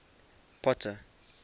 potter